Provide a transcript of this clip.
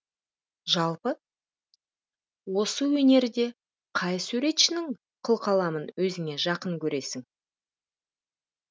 жалпы осы өнерде қай суретшінің қылқаламын өзіңе жақын көресің